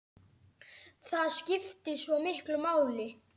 Það skiptir svo miklu máli.